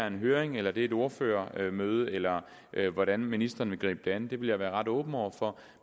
en høring eller et ordførermøde eller hvordan ministeren vil gribe det an vil jeg være ret åben over for